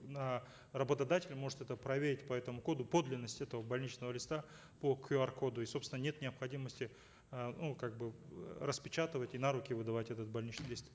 на работодателя может это проверить по этому коду подлинность этого больничного листа по кюар коду и собственно нет необходимости э ну как бы э распечатывать и на руки выдавать этот больничный лист